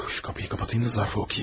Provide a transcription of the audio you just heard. Bu qapını bağlayım ki, zərfi oxuyum.